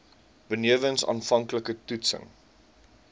benewens aanvanklike toetsings